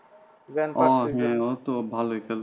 ও হ্যাঁ ও তো ভালোই খেলতো।